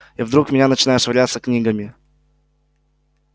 и вдруг в меня начинают швыряться книгами